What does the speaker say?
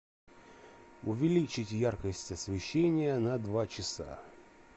увеличить яркость освещения на два часа